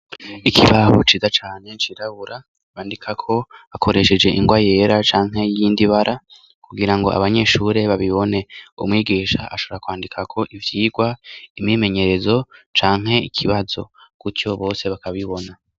Ikibaho ciza cane cirabura bandika ko akoresheje ingwa yera canke y'indi bara kugira ngo abanyeshure babibone umwigisha ashara kwandika ko ivyirwa imimenyerezo canke ikibazo kutyo bose bakabibona.